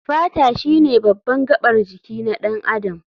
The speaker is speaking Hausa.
Fata shine baban gabar jiki na ɗan adam.